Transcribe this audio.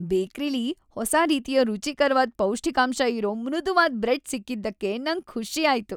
ಬೇಕ್ರಿಲಿ ಹೊಸ ರೀತಿಯ ರುಚಿಕರ್ವಾದ ಪೌಷ್ಠಿಕಾಂಶ ಇರೋ ಮೃದುವಾದ್ ಬ್ರೆಡ್ ಸಿಕ್ಕಿದಕ್ಕೆ ನಂಗ್ ಖುಷಿ ಆಯ್ತು.